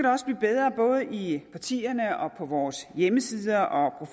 også blive bedre både i partierne og på vores hjemmesider og